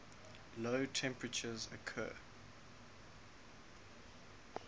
low temperatures occur